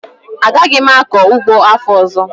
Agaghị m akọ ụgbọ afọ ọzọ